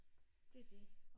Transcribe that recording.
Det er det